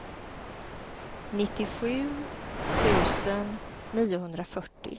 nittiosju tusen niohundrafyrtio